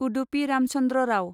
Udupi Ramachandra Rao